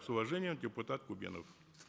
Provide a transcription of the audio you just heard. с уважением депутат кубенов